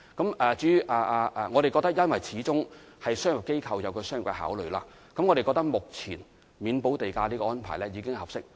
由於商業機構始終有商業的考慮，我們認為目前豁免土地補價的安排已經合適。